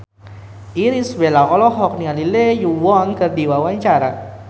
Irish Bella olohok ningali Lee Yo Won keur diwawancara